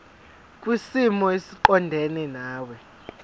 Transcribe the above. kwisimo esiqondena nawe